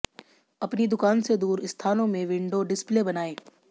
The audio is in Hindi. अपनी दुकान से दूर स्थानों में विंडो डिस्प्ले बनाएं